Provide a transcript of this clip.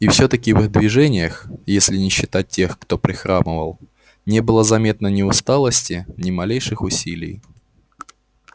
и все таки в их движениях если не считать тех кто прихрамывал не было заметно ни усталости ни малейших усилий